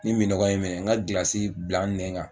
Ni minɔgɔ ye n minɛ n ka gilasi bila n nɛ kan.